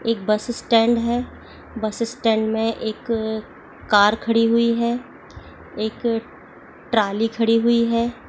एक buses stand है buses stand में एक कार खड़ी हुई है एक ट्राली खड़ी हुई है।